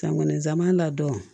San kɔni nsama ladɔn